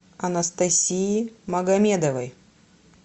анастасии магомедовой